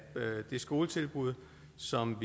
det skoletilbud som